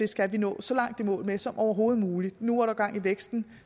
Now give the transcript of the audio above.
skal vi nå så langt i mål med som overhovedet muligt nu er gang i væksten